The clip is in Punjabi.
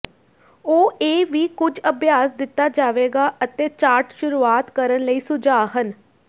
ਉਹ ਇਹ ਵੀ ਕੁਝ ਅਭਿਆਸ ਦਿੱਤਾ ਜਾਵੇਗਾ ਅਤੇ ਚਾਰਟ ਸ਼ੁਰੂਆਤ ਕਰਨ ਲਈ ਸੁਝਾਅ ਹਨ